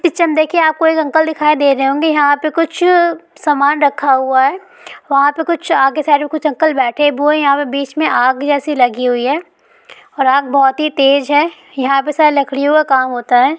Picture में देखिए यहाँ पे आपको एक अंकल दिखाई दे रहे होंगे यहाँ पे कुछ सामान रखा हुआ है वहां पे कुछ आगे साइड मे एक अंकल बैठे है वो यहाँ पे कुछ आग जैसे लगी हुई है और आग बहुत ही तेज है यहाँ पे शायद लकड़ियों का काम होता है।